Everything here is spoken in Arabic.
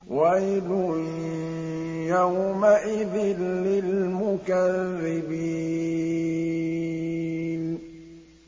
وَيْلٌ يَوْمَئِذٍ لِّلْمُكَذِّبِينَ